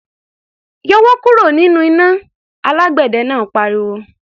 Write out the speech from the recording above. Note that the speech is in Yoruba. "Yọwọ́ kúrò nínú iná!" Alágbẹ̀dẹ náà pariwo.